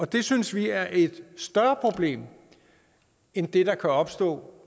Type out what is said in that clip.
det synes vi er et større problem end det der kan opstå